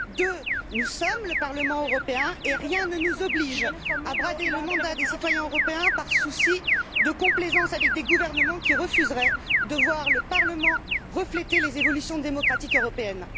Deuxièmement, nous sommes le Parlement européen et rien ne nous oblige à brader le mandat des citoyens européens par souci de complaisance envers des gouvernements qui refuseraient de voir le Parlement refléter les évolutions démocratiques européennes.